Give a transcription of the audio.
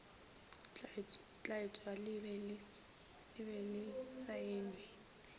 tlatšwa le be le saenwe